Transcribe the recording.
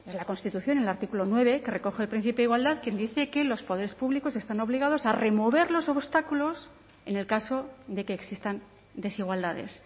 la constitución en el artículo nueve que recoge el principio de igualdad quien dice que los poderes públicos están obligados a remover los obstáculos en el caso de que existan desigualdades